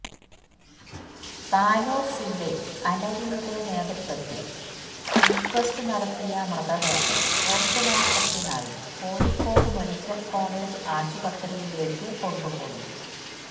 Tanur C I അലവിയുടെ നേതൃത്വത്തില് inquest നടത്തിയ മൃതദേഹം പോസ്റ്റുമോര്ട്ടത്തിനായി കോഴിക്കോട് മെഡിക്കല് കോളജ് ആശുപത്രിയിലേക്ക് കൊണ്ടുപോയി